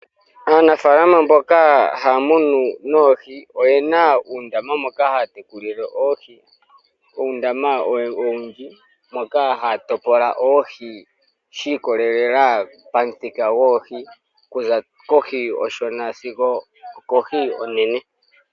Aanafaalama mboka haya munu oohi. Oyena uundama moka haya tekulile oohi. Uundama owundji moka haya topolele oohi shiikololela pomuthika goohi. Okuza kohi onshona sigo okohi onene.